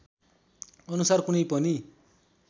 अनुसार कुनै पनि